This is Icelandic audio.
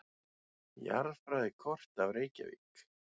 Jarðfræðikort af Reykjavík.